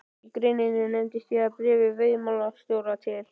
Í greininni nefndi ég að í bréfi veiðimálastjóra til